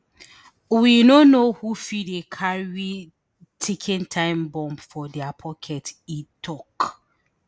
we no know who fit dey carry ticking time bomb for dia pockets e tok